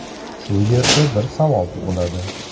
Shu yerda bir savol tug‘iladi.